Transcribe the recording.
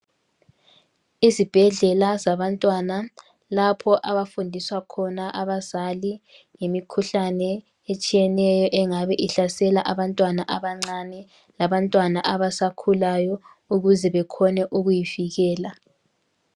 Izibhedlela zabantwana lapho abafundiswa khona abazali ngemikhuhlane etshiyeneyo engabe ihlasela abantwana abancane labantwana abasakhulayo ukuze bekhone ukuyivikela.